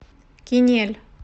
кинель